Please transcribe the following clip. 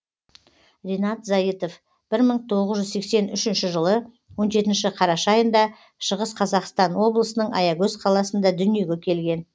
ринат зайытов бір мың тоғыз жүз сексен үшінші жылы он жетінші қараша айында шығыс қазақстан облысының аягөз қаласында дүниеге келген